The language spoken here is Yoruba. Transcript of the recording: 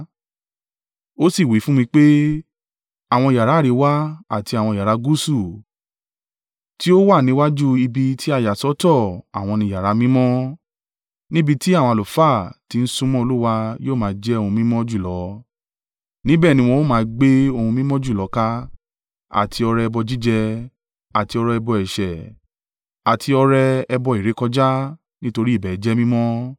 Ó sì wí fún mi pé, “Àwọn yàrá àríwá àti àwọn yàrá gúúsù, tí ó wà níwájú ibi tí a yà sọ́tọ̀ àwọn ni yàrá mímọ́, níbi tí àwọn àlùfáà ti ń súnmọ́ Olúwa yó máa jẹ́ ohun mímọ́ jùlọ; níbẹ̀ ní wọn o máa gbé ohun mímọ́ jùlọ kà, àti ọrẹ ẹbọ jíjẹ, àti ọrẹ ẹbọ ẹ̀ṣẹ̀, àti ọrẹ ẹbọ ìrékọjá; nítorí ibẹ̀ jẹ́ mímọ́.